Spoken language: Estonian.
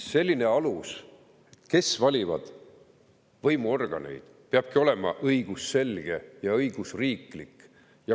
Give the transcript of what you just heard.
See alus, kes valivad võimuorganeid, peabki olema õigusselge ja õigusriiklik.